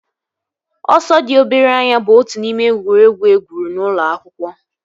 Ọsọ dị obere anya bụ otu n'ime egwuregwu egwuru n'ụlọ akwụkwọ